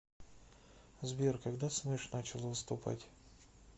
сбер когда смэш начал выступать